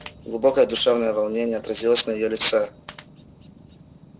глубокое душевное волнение отразилось на её лице